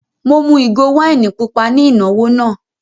Mo mú ìgò wáìnì pupa ní ìnáwó náà.